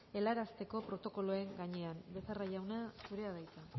helarazteko protokoloen gainean becerra jauna zurea da hitza